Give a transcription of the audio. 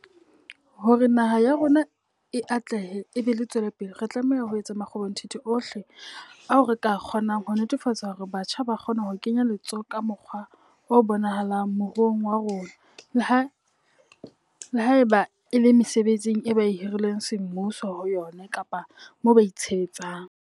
Hore naha ya rona e atlehe e be e tswelepele, re tlameha ho etsa makgobonthithi ohle ao re ka a kgonang ho netefatsa hore batjha ba kgona ho kenya letsoho ka mokgwa o bonahalang moruong wa rona, le haeba e le mesebetsing eo ba hirilweng semmuso ho yona kapa moo ba itshebetsang.